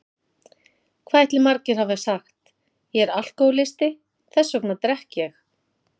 Hvað ætli margir hafi sagt: Ég er alkohólisti, þess vegna drekk ég!